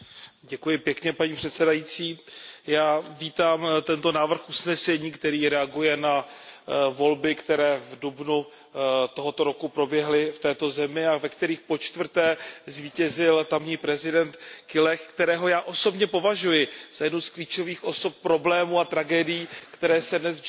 Paní předsedající, já vítám tento návrh usnesení, který reaguje na volby, které v dubnu tohoto roku proběhly v této zemi a ve kterých po čtvrté zvítězil tamní prezident Guelleh, kterého já osobně považuji za jednu z klíčových osob problémů a tragédií, které se dnes v Džibutsku dějí.